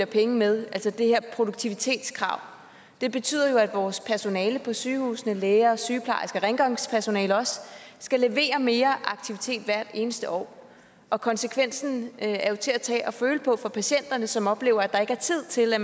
penge med altså det her produktivitetskrav det betyder jo at vores personale på sygehusene såsom læger sygeplejersker og rengøringspersonale skal levere mere aktivitet hvert eneste år og konsekvensen er jo til at tage og føle på for patienterne som oplever at der ikke er tid til at